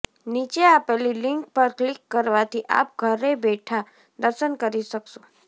નીચે આપેલી લિંક પર ક્લિક કરવાથી આપ ઘરે બેઠા દર્શન કરી શકશો